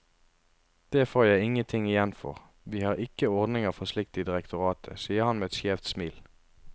Det får jeg ingen ting igjen for, vi har ikke ordninger for slikt i direktoratet, sier han med et skjevt smil.